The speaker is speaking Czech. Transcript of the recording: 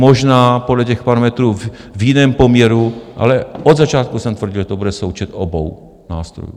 Možná podle těch parametrů v jiném poměru, ale od začátku jsem tvrdil, že to bude součet obou nástrojů.